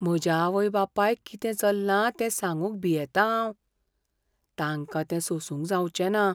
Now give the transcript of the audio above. म्हज्या आवय बापायक कितें चल्लां तें सांगुंक भियेतां हांव. तांकां तें सोसूंक जावंचेना.